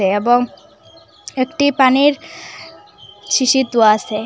এবং একটি পানির শিশির দোওয়া আসে।